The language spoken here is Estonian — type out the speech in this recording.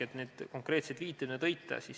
Te tõite konkreetsed viited.